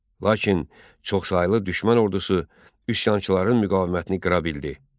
Lakin çoxsaylı düşmən ordusu üsyançıların müqavimətini qıra bildi.